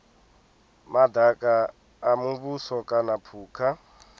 madaka a muvhuso kana phukha